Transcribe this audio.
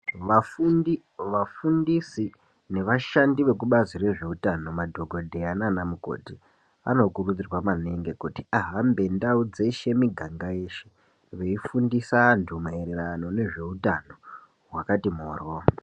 Vafundi, vafundisi nevashandi vekubazi rezvehutano ,madhogodheya naana mukoti anokurudzirwa maningi kuti ahambe ndawo dzeshe ,miganga yeshe beyi fundisa antu maererano nezvehutano hwakati mhoro.